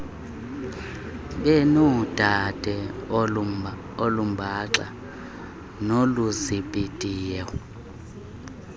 benoodaba olumbaxa noluzibhidayo